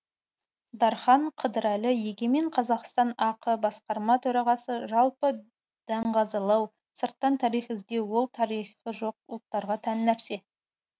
дархан қыдырәлі егемен қазақстан ақ басқарма төрағасы жалпы даңғазалау сырттан тарих іздеу ол тарихы жоқ ұлттарға тән нәрсе